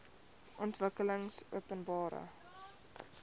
ontwikkelingopenbare